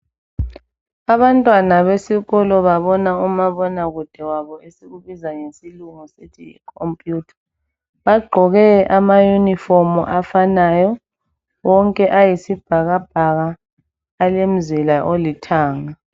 Abantwana besikolo babona umabonakude wabo, esikubiza ngesilungu sithi yi computer. Bagqoke ama uniform afanayo wonke ayisibhakabhaka alomzila olithanga.